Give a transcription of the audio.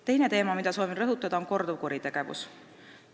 Teine teema, mida soovin rõhutada, on korduvkuritegevus.